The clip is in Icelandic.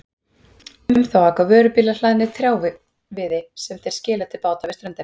Um þá aka vörubílar hlaðnir trjáviði sem þeir skila til báta við ströndina.